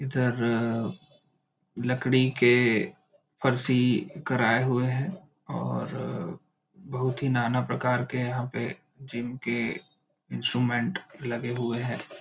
इधर लकड़ी के फरसी कराए हुए है और बहुत ही ना ना प्रकार के यहाँ पे जीम के इंस्ट्रूमेंट लगे हुए है।